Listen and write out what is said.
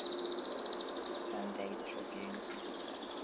sunday tribune editor